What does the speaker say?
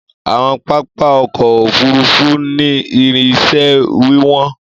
Àwọn pápá ọkọ ofurufu ni ìrìn ísẹ wiwọn.